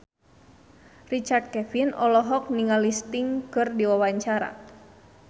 Richard Kevin olohok ningali Sting keur diwawancara